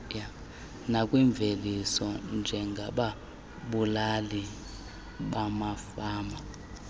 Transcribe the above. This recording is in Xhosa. nakwimveliso njengababulali bamafama